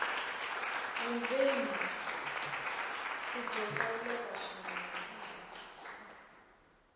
vundzeni i byo hlawuleka swinene